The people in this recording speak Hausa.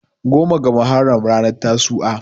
goma ga muharram ranar tasu"a